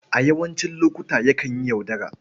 A yawancin lokuta, yakan yi yaudara.